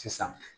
Sisan